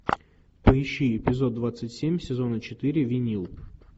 поищи эпизод двадцать семь сезона четыре винил